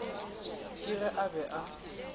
ke ge a be a